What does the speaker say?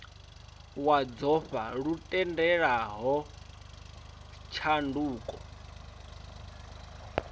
wa dzofha lu tendelaho tshanduko